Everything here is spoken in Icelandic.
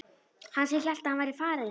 Hann sem hélt að hann væri farinn!